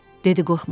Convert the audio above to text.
Dedi qorxma.